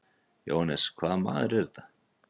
JÓHANNES: Hvaða maður er þetta?